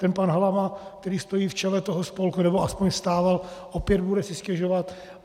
Ten pan Halama, který stojí v čele toho spolku, nebo aspoň stával, opět bude si stěžovat.